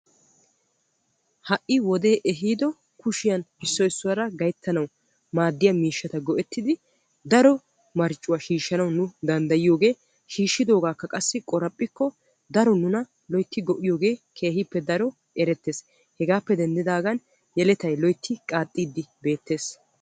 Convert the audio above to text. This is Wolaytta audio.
ha'i wodee ehiido kushiyan issoy issuwaara gayttanaw maaddiya miishshata go''etidi daro marccuwa shiishshanaw nu danddayyiyooge shiishshidoogakka qassi qoraphphikko daaro nuna loytti go''iyooge erettees. hegappe daenddidaagan loytti yeletay qaaxxiidi beettees.